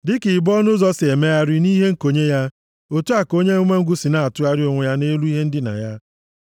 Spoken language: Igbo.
Dịka ibo ọnụ ụzọ si emegharị nʼihe nkonye ya, otu a ka onye umengwụ si na-atụgharị onwe ya nʼelu ihe ndina ya.